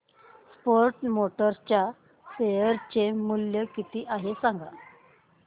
force Motors च्या share चे मूल्य किती आहे सांगा